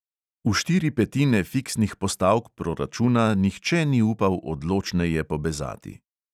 V štiri petine fiksnih postavk proračuna nihče ni upal odločneje pobezati.